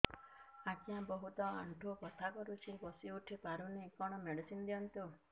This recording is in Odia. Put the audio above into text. ଆଜ୍ଞା ବହୁତ ଆଣ୍ଠୁ ବଥା କରୁଛି ବସି ଉଠି ପାରୁନି କଣ ମେଡ଼ିସିନ ଦିଅନ୍ତୁ